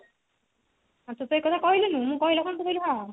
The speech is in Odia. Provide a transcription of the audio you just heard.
ତୁ ତ ଏକଥା କହିଲୁକି ମୁଁ କହିଲା ପରେ ତୁ କହିଲୁ ହଁ